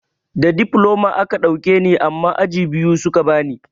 Da difloma a ka ɗauke ni amma aji biyu suka bani.